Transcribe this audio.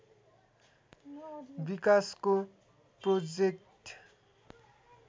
विकासको प्रोजेक्ट